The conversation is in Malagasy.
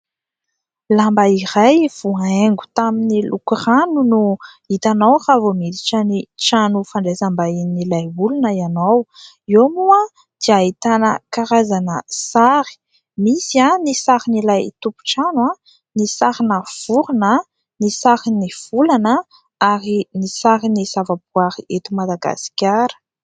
Lamba iray voahaingo tamin'ny lokorano no hitanao raha vao miditra ny trano fandraisam-bahin'ilay olona ianao. Eo moa dia ahitana karazana sary : misy ny sarin'ilay tompon-trano, ny sarina vorina, ny sarin'ny volana, ary ny sarin'ny zavaboaary eto Madagasikara.